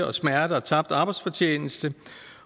og smerte og tabt arbejdsfortjeneste